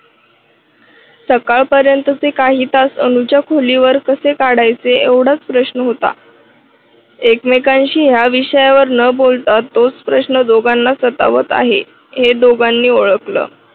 सकाळ पर्यंतचे काही तास अनुच्या खोलीवर कसे काढायचे एवढाच प्रश्न होता. एकमेकांशी या विषयावर न बोलता तोच प्रश्न दोघांना सतावत आहे. हे दोघांनी ओळखलं.